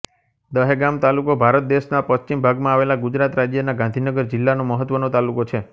દહેગામ તાલુકો ભારત દેશના પશ્ચિમ ભાગમાં આવેલા ગુજરાત રાજ્યના ગાંધીનગર જિલ્લાનો મહત્વનો તાલુકો છે